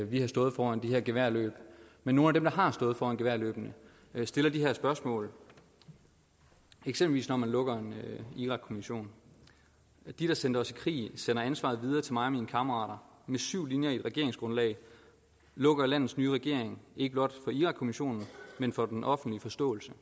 vi har stået foran de her geværløb men nogle af dem der har stået foran geværløbene stiller de her spørgsmål eksempelvis når man lukker en irakkommission de der sendte os i krig sender ansvaret videre til mig og mine kammerater med syv linjer i et regeringsgrundlag lukker landets nye regering ikke blot for irakkommissionen men for den offentlige forståelse